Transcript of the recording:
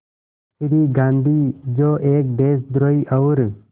श्री गांधी जो एक देशद्रोही और